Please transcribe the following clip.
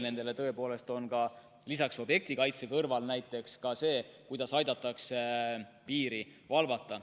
Nende üks olulisi rolle objektikaitse kõrval on näiteks ka see, et aidatakse piiri valvata.